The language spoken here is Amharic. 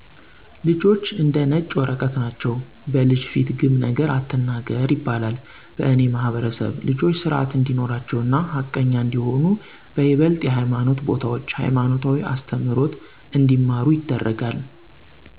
ልጆች እንደ ነጭ ወረቀት ናቸዉ። " በልጅ ፊት ግም ነገር አትናገር " ይባላል በእኔ ማህበረሰብ ልጆች ስርአት እንዲኖራቸው እና ሀቀኛ እንዲሆኑ በይበልጥ የሀይማኖት ቦታዎች ሀይማኖታዊ አስተምሮት እንዲማሩ ይደረጋል።